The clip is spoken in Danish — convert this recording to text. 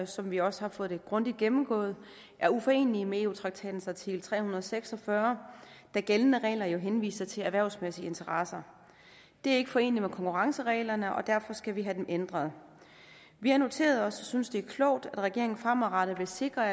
som vi også har fået det grundigt gennemgået er uforenelige med eu traktatens artikel tre hundrede og seks og fyrre da gældende regler jo henviser til erhvervsmæssige interesser det er ikke foreneligt med konkurrencereglerne og derfor skal vi have dem ændret vi har noteret os og synes det er klogt at regeringen fremadrettet vil sikre at